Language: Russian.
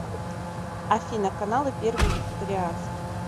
афина каналы первый вегетарианский